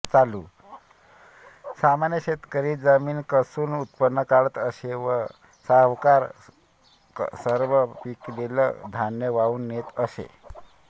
सामान्य शेतकरी जमीन कसून उत्पन्न काढत असे व सावकार सर्व पिकलेलं धान्य वाहून नेत असत